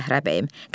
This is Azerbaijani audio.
Zəhra bəyim.